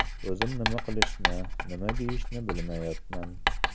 O‘zim nima qilishni, nima deyishni bilmayapman.